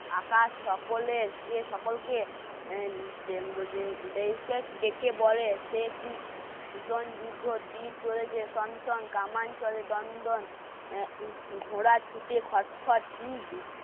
আকাশ সকলের কে সকলকে ডেকে বলে সে কিষণ যুদ্ধ চলেছে. সংশোধন, কামান চলে দন্ডন, অ্যা ঘোড়া ছুটে খটখট কি